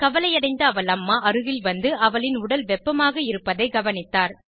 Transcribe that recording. கவலையடைந்த அவள் அம்மா அருகில் வந்து அவளின் உடல் வெப்பமாக இருப்பதைக் கவனித்தார்